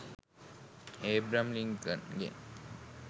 Abraham ලින්කන්ගෙ